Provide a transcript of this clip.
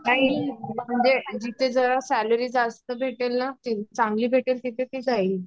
काही जिथे जर सैलरी जास्त भेटेल ना चांगली भेटेल तर तिथे ती जाईल